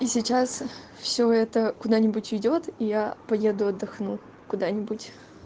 и сейчас все это куда-нибудь ведёт и я поеду отдохну куда-нибудь